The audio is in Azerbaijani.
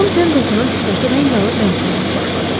Con Pendletonun sifəti rəng alıb rəng verməyə başladı.